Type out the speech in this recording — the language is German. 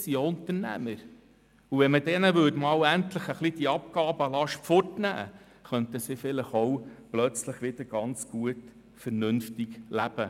Das sind auch Unternehmer, und wenn man diesen endlich die Abgabenlast ein wenig wegnehmen würde, könnten sie vielleicht auch plötzlich wieder ganz gut vernünftig leben.